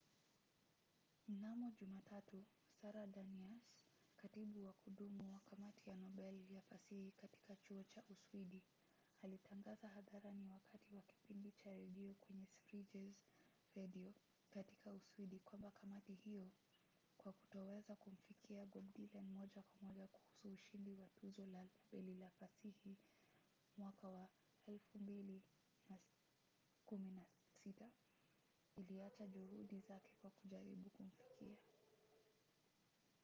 mnamo jumatatu sara danius katibu wa kudumu wa kamati ya nobel ya fasihi katika chuo cha uswidi alitangaza hadharani wakati wa kipindi cha redio kwenye sveriges radio katika uswidi kwamba kamati hiyo kwa kutoweza kumfikia bob dylan moja kwa moja kuhusu ushindi wa tuzo la nobel la fasihi 2016 iliacha juhudi zake za kujaribu kumfikia